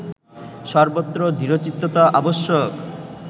সর্বত্র দৃঢ়চিত্ততা আবশ্যক